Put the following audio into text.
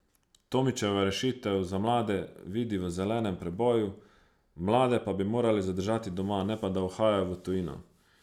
Tomičeva rešitev za mlade vidi v zelenem preboju, mlade pa bi morali zadržati doma, ne pa da uhajajo v tujino.